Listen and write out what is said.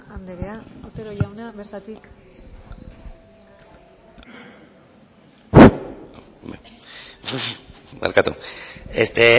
andrea otero jauna bertatik barkatu este